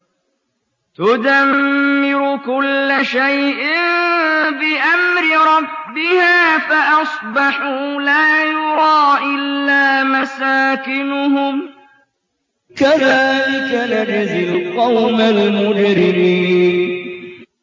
تُدَمِّرُ كُلَّ شَيْءٍ بِأَمْرِ رَبِّهَا فَأَصْبَحُوا لَا يُرَىٰ إِلَّا مَسَاكِنُهُمْ ۚ كَذَٰلِكَ نَجْزِي الْقَوْمَ الْمُجْرِمِينَ